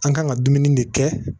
An kan ka dumuni de kɛ